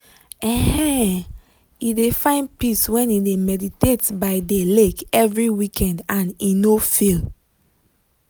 um he de find peace when e meditate by de lake every weekend and he no fail.